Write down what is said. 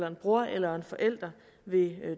en bror eller en forældre ved